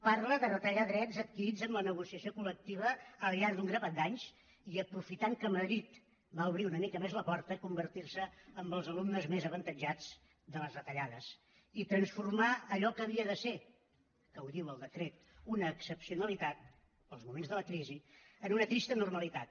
parla de retallar drets adquirits en la negociació col·lectiva al llarg d’un grapat d’anys i aprofitant que madrid va obrir una mica més la porta convertir se en els alumnes més avantatjats de les retallades i transformar allò que havia de ser que ho diu el decret una excepcionalitat pels moments de la crisi en una trista normalitat